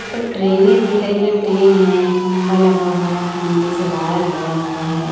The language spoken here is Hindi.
प ट्रेनें दिख रही हैं ट्रेन हैं खंभा लगा हुआ है खंभे से वायर गया हुआ है।